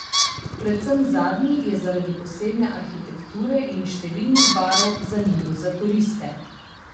Predvsem zadnji je zaradi posebne arhitekture in številnih barov zanimiv za turiste.